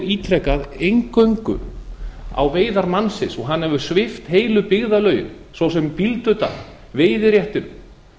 ítrekað eingöngu á veiðar mannsins og hann hefur svipt heilu byggðarlögin svo sem bíldudal veiðiréttinum